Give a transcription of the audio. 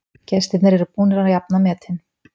Gestirnir eru búnir að jafna metin